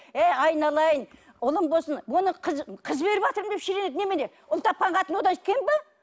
ей айналайын ұлым болсын бұны қыз қыз беріватырмын деп шіренеді немене ұл тапқан қатын одан кем бе